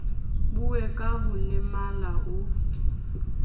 buuwe ka ho lemala o